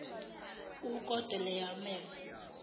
ukedorlawomere